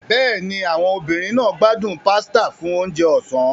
Bẹ́ẹ̀ni, àwọn obìnrin náà gbádùn pasta fún oúnjẹ ọ̀sán.